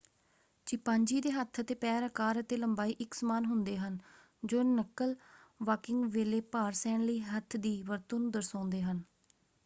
Chimpanzee ਦੇ ਹੱਥ ਅਤੇ ਪੈਰ ਆਕਾਰ ਅਤੇ ਲੰਬਾਈ ਇੱਕ ਸਮਾਨ ਹੁੰਦੇ ਹਨ ਜੋ ਨੱਕਲ-ਵਾਕਿੰਗ ਵੇਲੇ ਭਾਰ ਸਹਿਣ ਲਈ ਹੱਥ ਦੀ ਵਰਤੋਂ ਨੂੰ ਦਰਸਾਉਂਦੇ ਹਨ।